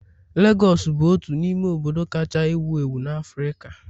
Legọs bụ otu n'ime obodo kacha ewu ewu na Africa.